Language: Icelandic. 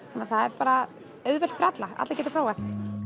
það er bara auðvelt fyrir alla allir geta prófað